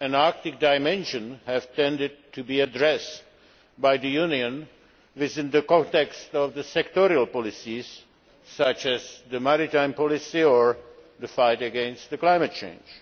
an Arctic dimension have tended to be addressed by the Union within the context of sectoral policies such as the maritime policy or the fight against climate change.